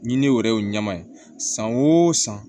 Ɲiniw yɛrɛ y'o ɲɛma ye san o san